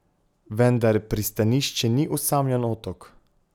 Vendar pristanišče ni osamljen otok.